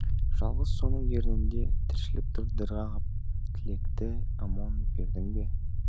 жалғыз соның ернінде тіршілік тұр дір қағып тілекті амон бердің бе